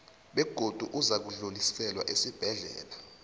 begodu uzakudluliselwa esibhedlela